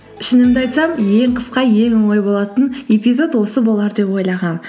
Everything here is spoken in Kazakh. шынымды айтсам ең қысқа ең оңай болатын эпизод осы болар деп ойлағанмын